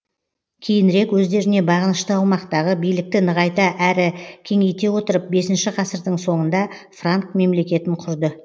кейінірек өздеріне бағынышты аумақтағы билікті нығайта әрі кеңейте отырып бесінші ғасырдың соңында франк мемлекетін құрды